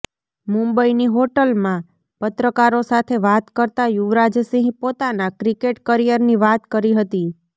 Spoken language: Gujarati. મુંબઇની હોટલમાં પત્રકારો સાથે વાત કરતા યુવરાજસિંહ પોતાના ક્રિકેટ કરિયરની વાત કરી હતી